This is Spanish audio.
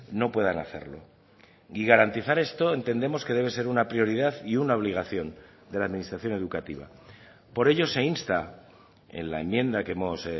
no puedan hacerlo y garantizar esto entendemos que debe ser una prioridad y una obligación de la administración educativa por ello se insta en la enmienda que hemos